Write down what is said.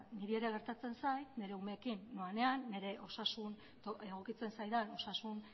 niri ere gertatzen zait nire umeekin noanean nire osasun egokitzen zaidan osasun